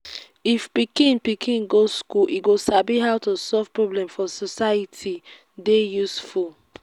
if pikin pikin go school e go sabi how to solve problem for society dey useful